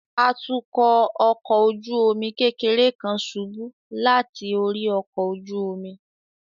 Atukọ ọkọ ojú omi kekere kan ṣubu lati ori ọkọ ojú omi